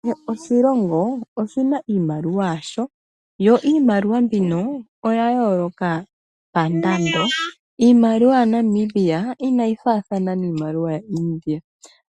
Kehe oshilongo oshina iimaliwa yasho yo iimaliwa mbino oya yooloka pandando. Iimaliwa ya Namibia inayi faathana niimaliwa yaAmerica.